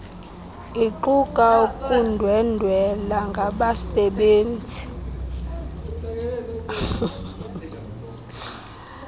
iquka ukundwendwela ngabasebenzi